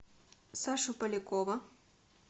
сашу полякова